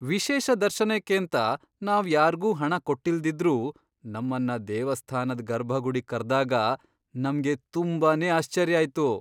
ವಿಶೇಷ ದರ್ಶನಕ್ಕೇಂತ ನಾವ್ ಯಾರ್ಗೂ ಹಣ ಕೊಟ್ಟಿಲ್ದಿದ್ರೂ ನಮ್ಮನ್ನ ದೇವಸ್ಥಾನದ್ ಗರ್ಭಗುಡಿಗ್ ಕರ್ದಾಗ ನಮ್ಗೆ ತುಂಬಾನೇ ಆಶ್ಚರ್ಯ ಆಯ್ತು.